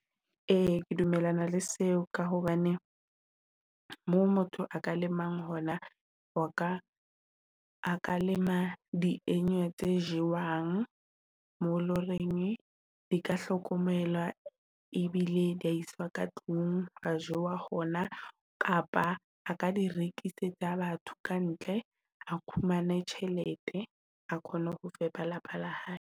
E ke dumellana le seo, ka hobane moo motho a ka lemang hona, ho ka a ka lema tse jewang mo loreng, di ka hlokomela e bile di a iswa ka tlung a jowa hona kapa a ka di rekisetsa batho kantle a khumane tjhelete, ha kgone ho fepa lapa la hae.